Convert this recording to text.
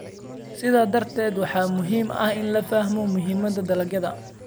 Sidaa darteed, waxaa muhiim ah in la fahmo muhiimadda dalagyada.